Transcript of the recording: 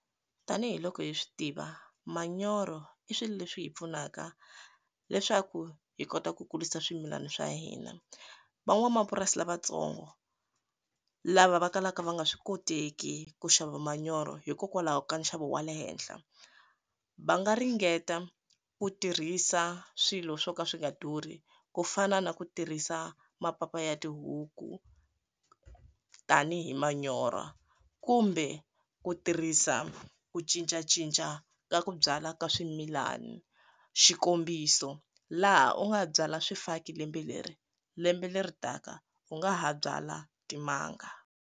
Tanihi loko hi swi tiva manyoro i swilo leswi hi pfunaka leswaku hi kota ku kulisa swimilana swa hina van'wamapurasi lavatsongo lava va kalaka va nga swi koteki ku xava manyoro hikokwalaho ka nxavo wa le henhla va nga ringeta ku tirhisa swilo swo ka swi nga durhi ku fana na ku tirhisa mapapa ya tihuku tanihi manyorha kumbe ku tirhisa ku cincacinca ka ku byala ka swimilani xikombiso laha u nga byala swifaki lembe leri lembe leri taka u nga ha byala timanga.